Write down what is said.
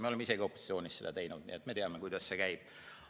Me oleme isegi seda opositsioonis teinud, me teame, kuidas see käib.